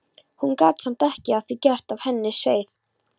Hún gat samt ekki að því gert að henni sveið.